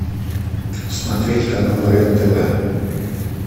смотреть канал рен тв